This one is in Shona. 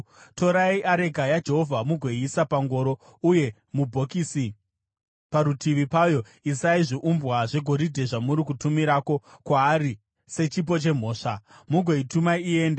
Torai areka yaJehovha mugoiisa pangoro, uye mubhokisi parutivi payo isai zviumbwa zvegoridhe zvamuri kutumirako kwaari sechipo chemhosva. Mugoituma iende,